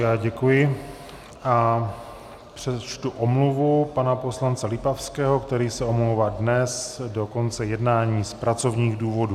Já děkuji a přečtu omluvu pana poslance Lipavského, který se omlouvá dnes do konce jednání z pracovních důvodů.